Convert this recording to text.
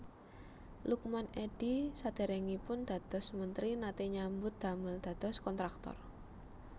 Lukman Edy sadèrèngipun dados mentri naté nyambut damel dados kontraktor